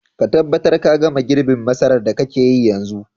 Ka tabbatar ka gama girbin masarar da kake yi yanzun.